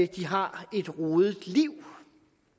de har et rodet liv